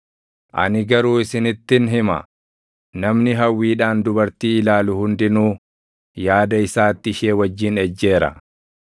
Ani garuu isinittin hima; namni hawwiidhaan dubartii ilaalu hundinuu yaada isaatti ishee wajjin ejjeera.